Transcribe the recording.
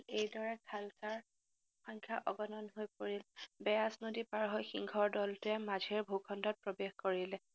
এইদৰে খালছাৰ সংখ্যা অগনন হৈ পৰিল, বেয়াচ নদী পাৰহৈ সিংহৰ দলটোৱে মাঝেৰ ভুখণ্ডত প্ৰবেশ কৰিলে।